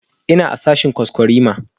Ina a sashen kwaskwarima